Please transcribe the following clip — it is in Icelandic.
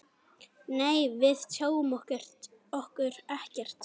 Nei, við tjáum okkur ekkert.